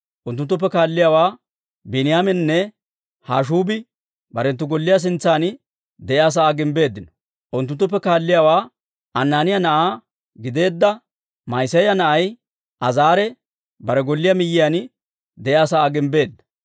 Unttunttuppe kaalliyaawaa Biiniyaamenne Hashshuubi barenttu golliyaa sintsan de'iyaa sa'aa gimbbeeddino. Unttunttuppe kaalliyaawaa Anaaniyaa na'aa gideedda Ma'iseeya na'ay Azaare bare golliyaa miyyiyaan de'iyaa sa'aa gimbbeedda.